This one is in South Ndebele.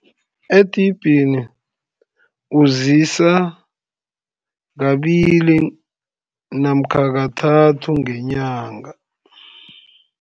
Edibhini, ukuzisa kabili namkha kathathu ngenyanga.